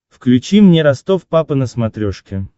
включи мне ростов папа на смотрешке